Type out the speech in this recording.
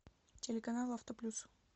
телеканал авто плюс